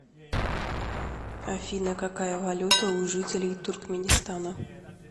афина какая валюта у жителей туркменистана